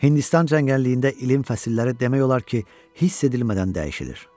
Hindistan cəngəlliyində ilin fəsilləri demək olar ki, hiss edilmədən dəyişilir.